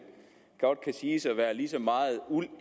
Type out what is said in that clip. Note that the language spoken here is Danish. godt kan siges at være lige så meget uld